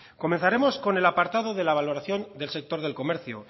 comenzaremos con el apartado de la valoración del sector del comercio